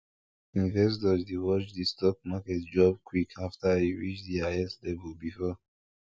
investors dey watch the stock market drop quick after e reach the highest level before